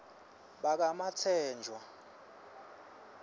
bakamatsenjwa